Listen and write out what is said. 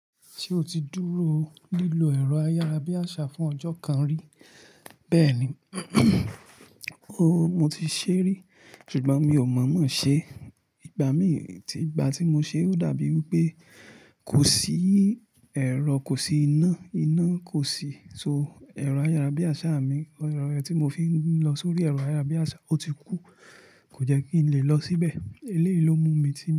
Ṣé o ti dúró lílọ ẹ̀rọ ayárabíàṣá fún ọjọ́ kan rí? Bẹ́ẹ̀ni, ooo, mo ti ṣé rí, ṣùgbọ́n mi ò mọ̀ mọ́ ṣe. Ìgbà mí tí, ìgbà tí mo ṣe ó dàbí i wí pé kò sí ẹ̀rọ, kò sí iná, iná kò sí. So, ẹ̀rọ ayárabíàṣá mi, ẹ̀rọ ẹni tí mo fi ń lọ sórí ẹ̀rọ ayárabíàṣá ó ti kú. Kò jẹ́ kí n lè lọ síbẹ̀. Eléyìí ló mú mi ti.